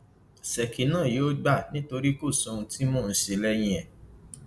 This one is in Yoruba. ṣèkí náà yóò gbà nítorí kò sí ohun tí mò ń ṣe lẹyìn ẹ